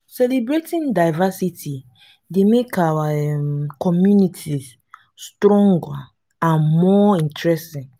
celebrating diversity dey make our um communities stronger and more interesting.